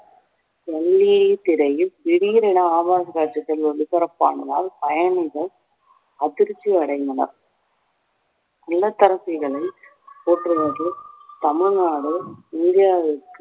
திரையில் திடீரென ஆபாச காட்சிகள் ஒளிபரப்பானதால் பயணிகள் அதிர்ச்சி அடைந்தனர் இல்லத்தரசிகளின் போற்றுவதில் தமிழ்நாடு இந்தியாவிற்கு